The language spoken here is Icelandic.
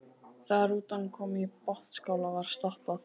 Þegar rútan kom í Botnsskála var stoppað.